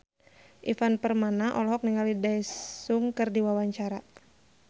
Ivan Permana olohok ningali Daesung keur diwawancara